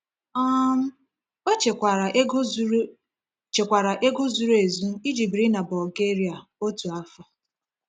um O chekwara ego zuru chekwara ego zuru ezu iji biri na Bulgaria otu afọ.